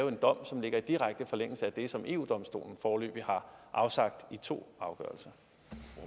en dom som ligger i direkte forlængelse af den dom som eu domstolen foreløbig har afsagt i to